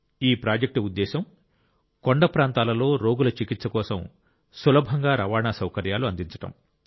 ఈ ప్రాజెక్ట్ ఉద్దేశ్యం కొండ ప్రాంతాలలో రోగుల చికిత్స కోసం సులభంగా రవాణా సౌకర్యాలు అందించడం